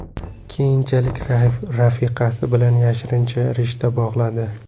Keyinchalik rafiqasi bilan yashirincha rishta bog‘ladi.